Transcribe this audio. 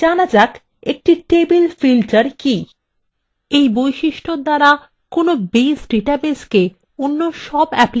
এই বৈশিষ্ট্যর দ্বারা একটি base ডাটাবেসকে অন্যান্য সব অ্যাপ্লিকেশন থেকে আড়াল করা যায়